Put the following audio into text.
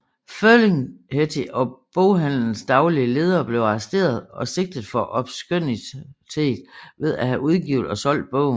Ferlinghetti og boghandelens daglige leder blev arresteret og sigtet for obskønitet ved at have udgivet og solgt bogen